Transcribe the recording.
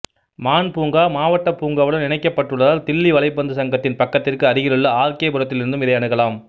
மான் பூங்கா மாவட்டப் பூங்காவுடன் இணைக்கப்பட்டுள்ளதால் தில்லி வலைப்பந்து சங்கத்தின் பக்கத்திற்கு அருகிலுள்ள ஆர் கே புரத்திலிருந்தும் இதை அணுகலாம்